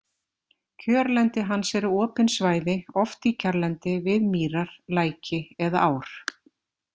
Kjörlendi hans eru opin svæði, oft í kjarrlendi, við mýrar, læki eða ár.